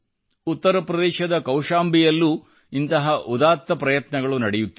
ಉತ್ತರ ಪ್ರದೇಶದ ಕೌಶಂಬಿಯಲ್ಲೂ ಇಂತಹ ಉದಾತ್ತ ಪ್ರಯತ್ನಗಳು ನಡೆಯುತ್ತಿವೆ